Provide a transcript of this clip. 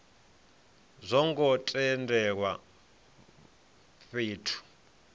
a zwo ngo tendelwa fhethu